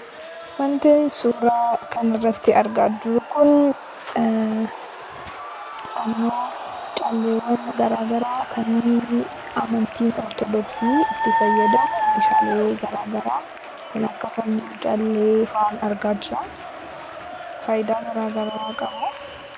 Wanti suuraa kana irratti argaa jirru kun fannoo, calleewwan garaa garaa kan amantiin Ortodoksii itti fayyadamu meeshaalee garaa garaa kan akka fannoo, callee faan argaa jira. Faayidaa garaa garaa qabu.